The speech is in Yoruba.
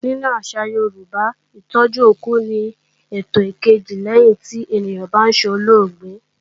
Nínú àṣà Yorùbá, Ìtọ́jú òkú ni ètò ìkejì lẹ́yìn tí ènìyàn bá solóògbé